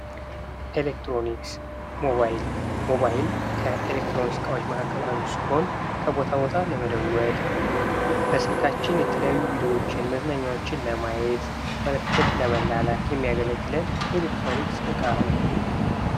ኤሌክትሮኒክስ ሞባይል፤ ሞባይል ከኤሌክትሮኒክስ እቃዎች መካከል አንዱ ሲሆን ከቦታ ቦታ ለመደወል፣ በስልካችን የተለያዩ ቪዲዮዎችን፣ መዝናኛዎችን ለማየት መልዕክት ለመላላክ የሚያገለግለን የኤሌክትሮኒክስ እቃ ነው።